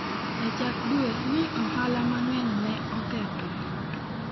E chak dwe ni ohala mang'eny ne okethore.